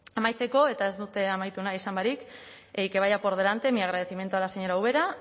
amaitzeko eta ez dut amaitu nahi esan barik y que vaya por delante mi agradecimiento a la señora ubera